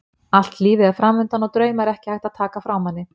Allt lífið er framundan og drauma er ekki hægt að taka frá manni.